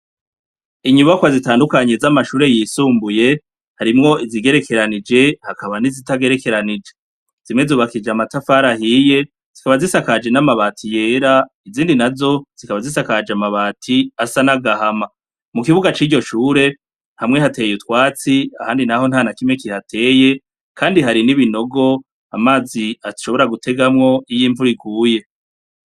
Inyubakwa zitandukanye z'amashure yisumbuye, harimwo izigerekanije bakaba n'izitagerekanije. Zimwe yubakishije n'amatafari ahiye, zikaba zisakaje n'amabati yera, izindi nazo zikaba zisakaje n'amabati asa n'agahama. Mu kibuga ciryo shure, hamwe hateye utwatsi, ahandi naho ntanakimwe kihateye, Kandi hari n'ibinogo amazi ashobora gutegamwo iyo imvura iguye.